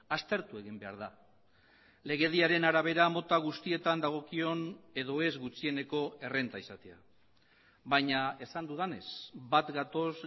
aztertu egin behar da legediaren arabera mota guztietan dagokion edo ez gutxieneko errenta izatea baina esan dudanez bat gatoz